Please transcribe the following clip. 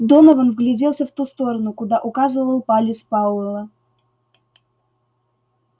донован вгляделся в ту сторону куда указывал палец пауэлла